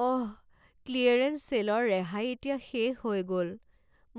অহ! Clearance ছে'লৰ ৰেহাই এতিয়া শেষ হৈ গ'ল।